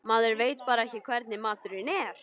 Maður veit bara ekki hvernig maturinn er.